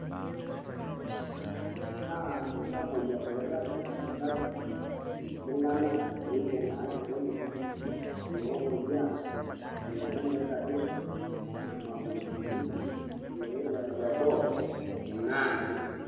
Ore enkiitanyanyukot naa iltamoyiak oirag te sipitali, iltung`anak oibung`a irpolisi, iloopoyiaa, ilomon oiragisho, irmapuusuni, iloirura te boo, inaani.